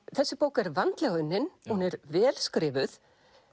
þessi bók er vandlega unnin hún er vel skrifuð